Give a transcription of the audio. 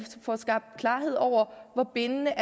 får skabt klarhed over hvor bindende